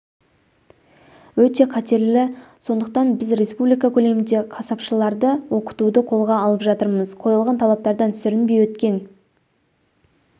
өте қатерлі сондықтан біз республика көлемінде қасапшыларды оқытуды қолға алып жатырмыз қойылған талаптардан сүрінбей өткен